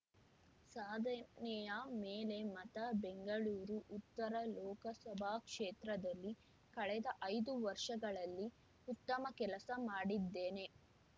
ಸಾಧನೆಯ ಮೇಲೆ ಮತ ಬೆಂಗಳೂರು ಉತ್ತರ ಲೋಕಸಭಾ ಕ್ಷೇತ್ರದಲ್ಲಿ ಕಳೆದ ಐದು ವರ್ಷಗಳಲ್ಲಿ ಉತ್ತಮ ಕೆಲಸ ಮಾಡಿದ್ದೇನೆ